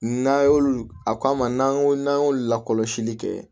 N'a y'olu a k'an ma n'an ko n'an y'olu lakɔlɔsili kɛ